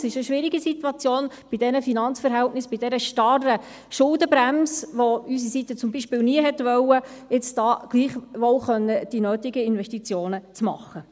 Es ist eine schwierige Situation bei diesen Finanzverhältnissen, bei dieser starren Schuldenbremse, die zum Beispiel unsere Seite nie gewollt hat – nun gleichwohl die nötigen Investitionen zu tätigen.